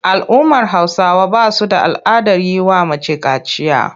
Al'ummar Hausawa ba su da al'adar yi wa mace kaciya.